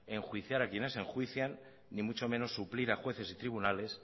enjuiciar a quienes enjuician ni mucho menos suplir a jueces y tribunales